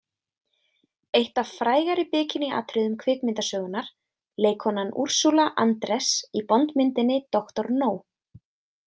Eitt af frægari bikiníatriðum kvikmyndasögunnar, leikkonan Ursula Andress í Bondmyndinni doktor No.